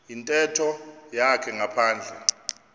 yintetho yakhe ngaphandle